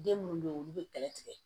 Den minnu bɛ yen olu bɛ bɛlɛ tigɛ